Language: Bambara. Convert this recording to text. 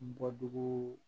N bɔ dugu